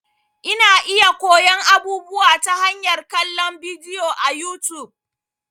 Ina iya koyon abubuwa ta hanyar kallon bidiyo a YouTube.